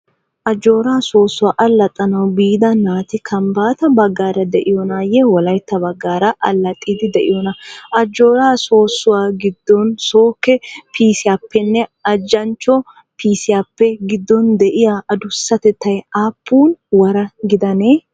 Ajjoora soosuwa allaxanawu biida naati Kambata bagaara de'iyoonaye Wolayitta bagaara allaxiide de'iyoona? Ajjoora soosuwaa gidoon sooke piisiyaappenne ajaachcho piisiyaappe gidoon dei'yaa adussatetay aapuun wara gidanee?